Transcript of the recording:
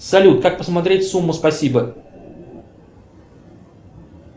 салют как посмотреть сумму спасибо